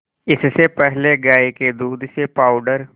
इससे पहले गाय के दूध से पावडर